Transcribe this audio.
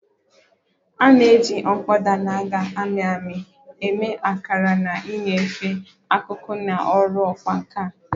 A na-eji mkpọda na-amị amị eme akara na ịnyefe akụkụ na ọrụ ọkwá nkà